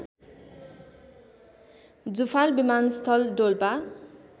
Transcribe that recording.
जुफाल विमानस्थल डोल्पा